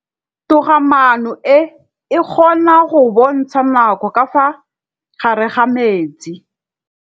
Toga-maanô e, e kgona go bontsha nakô ka fa gare ga metsi.